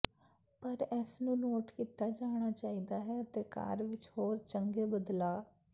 ਪਰ ਇਸ ਨੂੰ ਨੋਟ ਕੀਤਾ ਜਾਣਾ ਚਾਹੀਦਾ ਹੈ ਅਤੇ ਕਾਰ ਵਿੱਚ ਹੋਰ ਚੰਗੇ ਬਦਲਾਅ